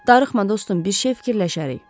Darıxma dostum, bir şey fikirləşərik.